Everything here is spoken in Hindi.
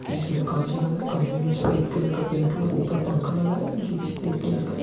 जिसमें कांच लगा हैं कमरे में सफेद कलर का पेंट हुआ है और ऊपर पंखा लगा हुआ है जो भी सफेद कलर का है।